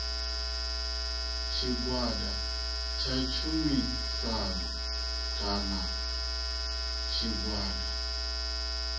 tshigwada tsha tshumisano kana tshigwada